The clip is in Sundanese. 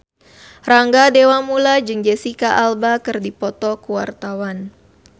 Rangga Dewamoela jeung Jesicca Alba keur dipoto ku wartawan